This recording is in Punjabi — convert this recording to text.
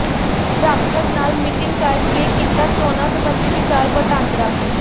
ਜਾਖੜ ਨਾਲ ਮੀਟਿੰਗ ਕਰਕੇ ਕੀਤਾ ਚੋਣਾਂ ਸਬੰਧੀ ਵਿਚਾਰ ਵਟਾਂਦਰਾ